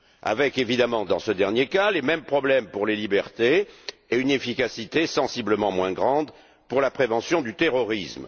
avec, évidemment, dans ce dernier cas, les mêmes problèmes pour les libertés et une efficacité sensiblement moins grande pour la prévention du terrorisme.